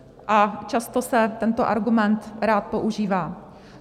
A často se tento argument rád používá.